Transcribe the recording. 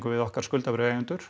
við okkar